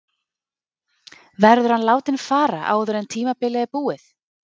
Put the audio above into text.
Verður hann látinn fara áður en tímabilið er búið?